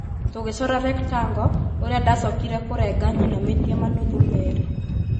tũgĩcora 'rectangle' ,ũrĩa ndacokire kũrenga nyinamĩtie manuthu meerĩ